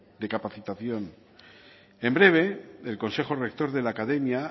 de capacitación en breve el consejo rector de la academia